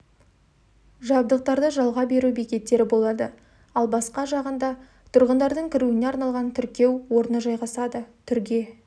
жабдықтарды жалға беру бекеттері болады ал басқа жағында тұрғындардың кіруіне арналған тіркеу орны жайғасады түрге